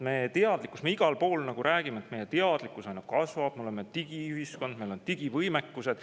Me igal pool räägime, et meie teadlikkus aina kasvab, me oleme digiühiskond, meil on digivõimekused.